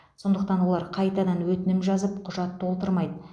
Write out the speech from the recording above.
сондықтан олар қайтадан өтінім жазып құжат толтырмайды